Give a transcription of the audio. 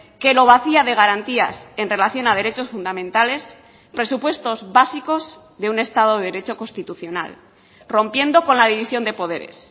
que lo vacía de garantías en relación a derechos fundamentales presupuestos básicos de un estado de derecho constitucional rompiendo con la división de poderes